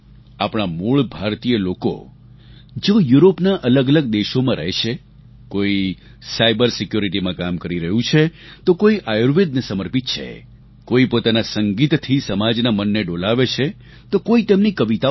આપણા મૂળ ભારતીય લોકો જેઓ યુરોપના અલગઅલગ દેશોમાં રહે છે કોઈ સાયબર સિક્યોરિટીમાં કામ કરી રહ્યું છે તો કોઈ આયુર્વેદને સમર્પિત છે કોઈ પોતાના સંગીતથી સમાજના મનને ડોલાવે છે તો કોઈ તેમની કવિતાઓથી